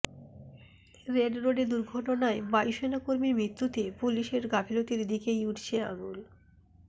red রোডে দুর্ঘটনায় বায়ুসেনা কর্মীর মৃত্যুতে পুলিসের গাফিলতির দিকেই উঠছে আঙুল